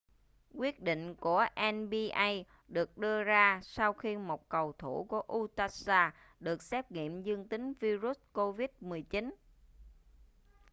quyết định của nba được đưa ra sau khi một cầu thủ của utah jazz được xét nghiệm dương tính vi-rút covid-19